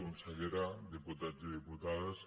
consellera diputats i diputades